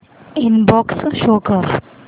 inbox show कर